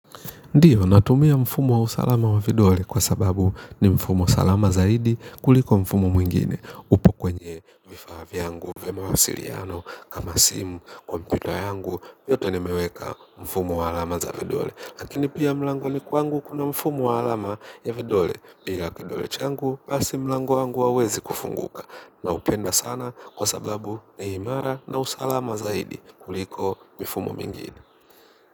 Ndiyo, natumia mfumo wa usalama wa vidole kwa sababu ni mfumo salama zaidi kuliko mfumo mwingine upo kwenye vifaa vyangu, vya mawasiriano, kama simu, kompyuta yangu, yoto nimeweka mfumo wa alama za vidole. Lakini pia mlangoni kwangu kuna mfumo wa alama ya vidole bila kidole changu basi mlango wangu hauwezi kufunguka. Na upenda sana kwa sababu ni imara na usalama zaidi kuliko mifumo mingine.